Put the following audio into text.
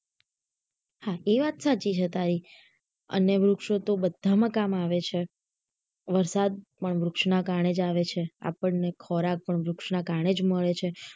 હા એ વાત સાચી છે તારી અને વૃક્ષો બધા માં કામ આવે છે વરસાદ પણ વૃક્ષ ના કારણે જ આવે છે આપણને ખોરાક પણ વૃક્ષ ના કારણે જ મળે છે